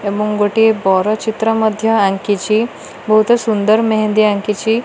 ଏବଂ ଗୋଟିଏ ବର ଚିତ୍ର ମଧ୍ୟ ଆଙ୍କିଚି ବହୁତ ସୁନ୍ଦର ମେହେନ୍ଦି ଅଙ୍କିଛି।